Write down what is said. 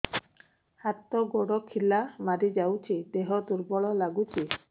ହାତ ଗୋଡ ଖିଲା ମାରିଯାଉଛି ଦେହ ଦୁର୍ବଳ ଲାଗୁଚି